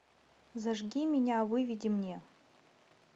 зажги меня выведи мне